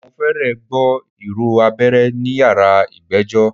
Mo fẹ́rẹ̀ gbọ́ ìró abẹ́rẹ́ ní yàrá ìgbẹ́jọ́.